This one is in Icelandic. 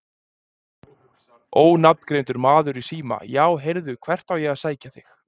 Ónafngreindur maður í síma: Já heyrðu hvert á ég að sækja þig?